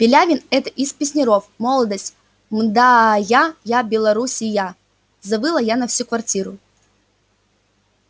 пилявин это из песняров молодость мда я я белоруссия завыла я на всю квартиру